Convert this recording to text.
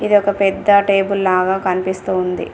ఇది ఒక పెద్ద టేబుల్ లాగా కనిపిస్తూ ఉంది.